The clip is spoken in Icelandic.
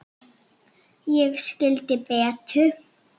Ég skildi Betu.